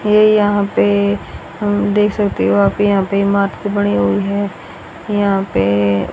ये यहां पे देख सकते हो आप यहां पे बनी हुई है। यहां पे--